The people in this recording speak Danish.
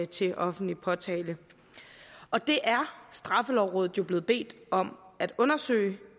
til offentlig påtale og det er straffelovrådet jo blevet bedt om at undersøge